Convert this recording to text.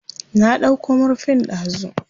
Na ɗauko murfin dazu.